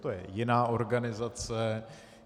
To je jiná organizace.